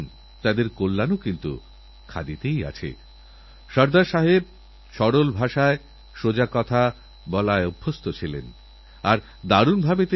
হতে পারে আরো অনেক কবি আছেন যাঁরা অনেক কবিতা লিখেছেন হয়ত কবিতা লিখেকেউ কেউ তা আবৃত্তি করবেন প্রতিটি ভাষাতে করবেন তবে আমাকে সূরজজী যে কবিতাটাপাঠিয়েছেন আমি তা আপনাদের সঙ্গে উপভোগ করতে চাই